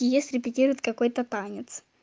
и если придьявят какой-то танец